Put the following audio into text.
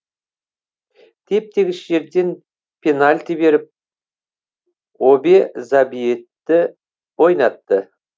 теп тегіс жерден пенальти беріп обе забьетті ойнатты